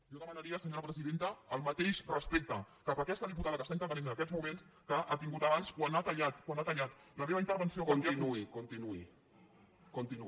jo demanaria senyora presidenta el mateix respecte cap a aquesta diputada que està intervenint en aquests moments que ha tingut abans quan ha tallat quan ha tallat la meva intervenció perquè ha